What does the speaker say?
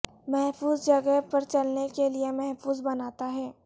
محفوظ جگہ پر چلنے کے لئے محفوظ بناتا ہے